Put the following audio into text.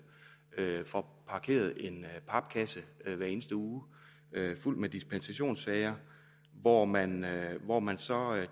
får parkeret en papkasse hver eneste uge fuld af dispensationssager hvor man hvor man så